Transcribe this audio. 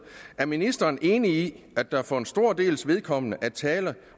er ministeren enig i at der for en stor dels vedkommende er tale